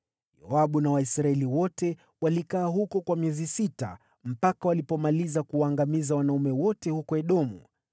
Yoabu na Waisraeli wote walikaa huko kwa miezi sita, mpaka walipomaliza kuwaangamiza wanaume wote huko Edomu.